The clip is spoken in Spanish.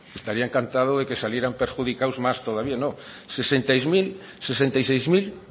estaría encantado que saldrían perjudicados más todavía no sesenta y seis mil